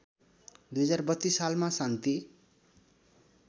२०३२ सालमा शान्ति